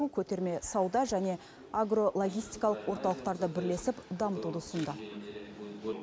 көтерме сауда және агро логистикалық орталықтарды бірлесіп дамытуды ұсынды